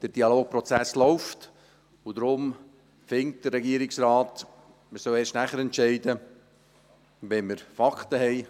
Der Dialogprozess läuft, und deshalb findet der Regierungsrat, man solle erst entscheiden, sobald wir Fakten haben;